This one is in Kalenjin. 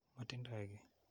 Matindoi ki.